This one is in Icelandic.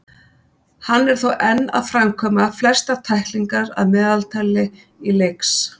Hann er þó enn að framkvæma flestar tæklingar að meðaltali í leiks.